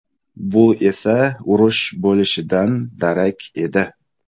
Bu esa urush bo‘lishidan darak edi.